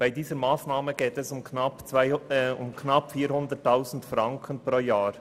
Beim Antrag 2 geht es um knapp 400 000 Franken pro Jahr.